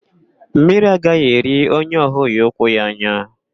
Mmiri agaghị eri onye ọ hụghị ụkwụ ya anya.